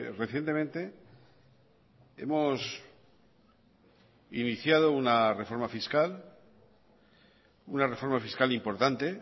recientemente hemos iniciado una reforma fiscal una reforma fiscal importante